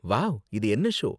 Wow! இது என்ன show?